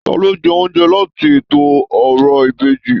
Taló jẹ oúnjẹ láti ètò òrò ìbejì?